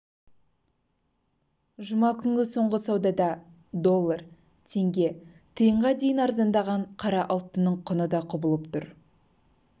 жұма күнгі соңғы саудада доллар теңге тиынға дейін арзандаған қара алтынның құны да құбылып тұр